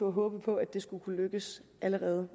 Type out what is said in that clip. håbe på at det skulle kunne lykkes allerede